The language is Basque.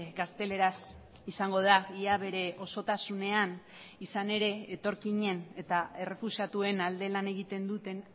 gazteleraz izango da ia bere osotasunean izan ere etorkinen eta errefuxiatuen alde lan egiten duten